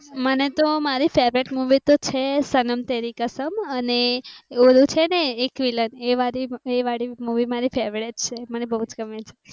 મને તો મારી favourite મૂવી તો છે. સનમ તેરી કસમ અને ઓલું છે ને એક વિલ્લન એ વાળી મૂવી મારી favourite છે. મને બૌજ ગમે છે.